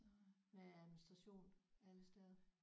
Der er administration alle steder